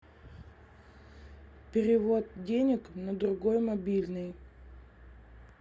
перевод денег на другой мобильный